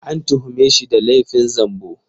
An tuhume shi da laifin zambo